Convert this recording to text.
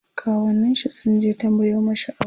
kawunnin shi sunje tambayo mashi aure